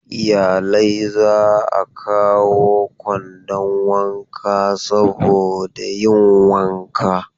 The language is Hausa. Iyalai za a kawo kwandon wanka saboda yin wanka.